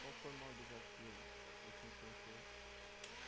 Qual foi o maior desafio que você enfrentou?